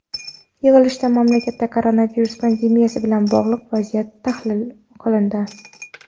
Yig‘ilishda mamlakatda koronavirus pandemiyasi bilan bog‘liq vaziyat tahlil qilindi.